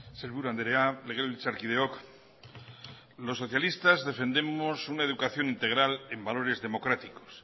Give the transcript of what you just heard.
sailburu andrea legebiltzarkideok los socialistas defendemos una educación integral en valores democráticos